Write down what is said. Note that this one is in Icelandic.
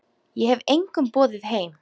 Ég hef engum boðið heim.